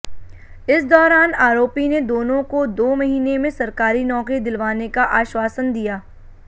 इस दौरान आरोपी ने दोनों को दो महीने में सरकारी नौकरी दिलवाने का आश्वासन दिया